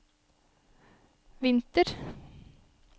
vinter